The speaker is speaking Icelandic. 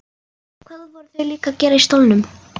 Hvað voru þau líka að gera í stólnum?